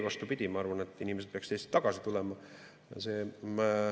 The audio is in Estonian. Vastupidi, ma arvan, et inimesed peaksid Eestisse tagasi tulema.